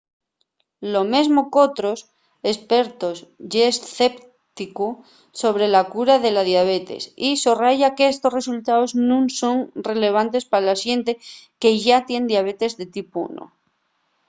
lo mesmo qu'otros espertos ye escépticu sobre la cura de la diabetes y sorraya qu'estos resultaos nun son relevantes pa la xente que yá tien diabetes de tipu 1